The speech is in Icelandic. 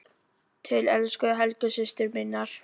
Til elsku Helgu systur minnar.